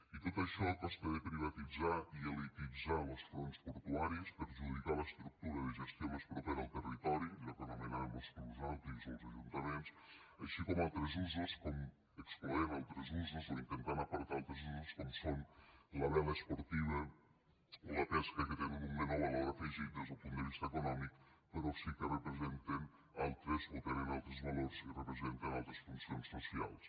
i tot això a costa de privatitzar i elititzar los fronts portuaris perjudicar l’estructura de gestió més propera al territori allò que anomenàvem los clubs nàutics o els ajuntaments així com excloent altres usos o intentant apartar altres usos com són la vela esportiva o la pesca que tenen un menor valor afegit des del punt de vista econòmic però sí que tenen altres valors i representen altres funcions socials